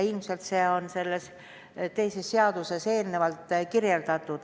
Ilmselt see on selles teises seaduses juba kirjas.